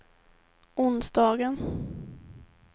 onsdagen